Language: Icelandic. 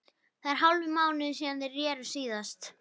Það er hálfur mánuður síðan þeir reru síðast.